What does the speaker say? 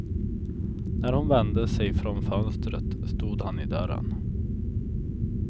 När hon vände sig från fönstret stod han i dörren.